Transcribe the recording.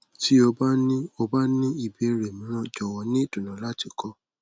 ti o ba ni o ba ni ibeere miiran jọwọ ni idunnu lati kọ